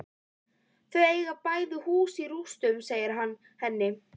Þau eiga bæði hús í rústum, segir hann henni.